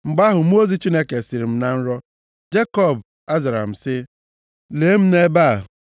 Mgbe ahụ, mmụọ ozi Chineke sịrị m na nrọ, ‘Jekọb.’ Azara m sị, ‘Lee m nʼebe a.’